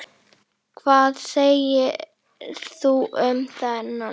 Hvað segir þú um þennan?